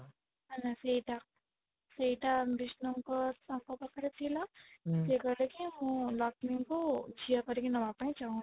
ହେଲା ସେଇଟା ସେଇଟା ବିଷ୍ଣୁ ଙ୍କ ତାଙ୍କ ପାଖରେ ଥିଲା ସେ କହିଲେ କି ମୁଁ ଲକ୍ଷ୍ମୀ ଙ୍କୁ ଝିଅ କରିକି ନବା ପାଇଁ ଚାହୁଁଛି